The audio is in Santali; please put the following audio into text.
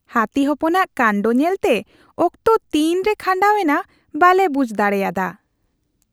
ᱦᱟᱹᱛᱤ ᱦᱚᱯᱚᱱᱟᱜ ᱠᱟᱱᱰᱚ ᱧᱮᱞᱛᱮ ᱚᱠᱛᱚ ᱛᱤᱱᱨᱮ ᱠᱷᱟᱸᱰᱟᱣᱮᱱᱟ ᱵᱟᱝᱞᱮ ᱵᱩᱡᱷ ᱫᱟᱲᱮᱭᱟᱫᱟ ᱾